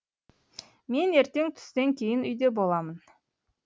мен ертең түстен кейін үйде боламын